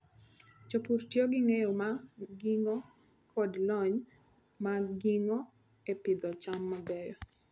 Jopur tiyo gi ng'eyo ma gin-go kod lony ma gin-go e pidho cham mabeyo.